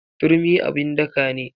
Turmi abun daka ne.